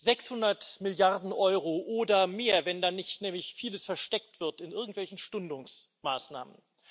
600 Milliarden Euro oder mehr, wenn da nicht nämlich vieles versteckt wird in irgendwelchen Stundungsmaßnahmen.